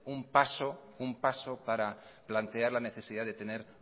un paso para plantear la necesidad de tener